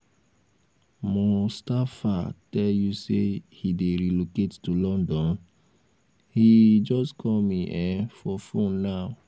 mustapha tell you say he dey relocate to london? he um just call me um for phone now